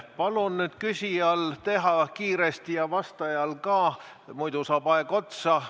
Palun nüüd küsijal teha kiiresti ja vastajal ka, muidu saab aeg otsa.